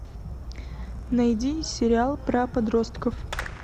найди сериал про подростков